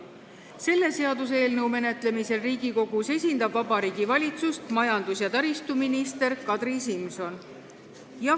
Selle seaduseelnõu menetlemisel Riigikogus esindab Vabariigi Valitsust majandus- ja taristuminister Kadri Simson.